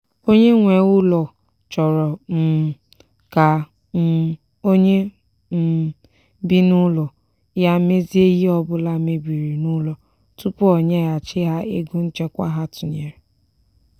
onye nwe ụlọ chọrọ um ka um onye um bi n'ụlọ ya mezie ihe ọbụla mebiri n'ụlọ tupu o nyeghachi ha ego nchekwa ha tụnyere.